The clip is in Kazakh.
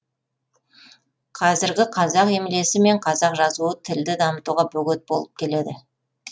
кәзіргі қазақ емлесі мен қазақ жазуы тілді дамытуға бөгет болып келеді